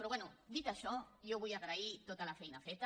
però bé dit això jo vull agrair tota la feina feta